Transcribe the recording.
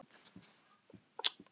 Þau skildu sjö árum síðar.